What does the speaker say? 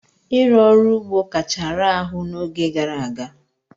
Ịrụ ọrụ ugbo kacha raa ahụ n'oge gara aga.